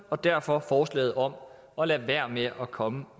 og derfor forslaget om at lade være med at komme